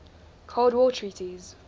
cold war treaties